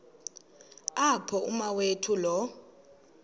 apho umawethu lo